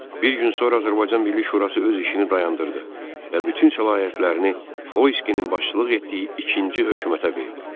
Bir gün sonra Azərbaycan Milli Şurası öz işini dayandırdı və bütün səlahiyyətlərini Xoyskinin başçılıq etdiyi ikinci hökumətə verdi.